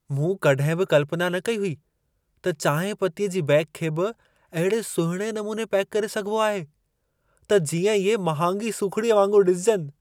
मूं कॾहिं बि कल्पना न कई हुई त चांहिं पत्तीअ जी बेग खे बि अहिड़े सुहिणे नमूने पैक करे सघिबो आहे, त जींअं इहे महांगी सूखिड़ीअ वांगुर ॾिसिजनि।